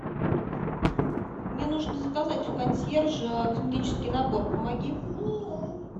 мне нужно заказать у консьержа косметический набор помоги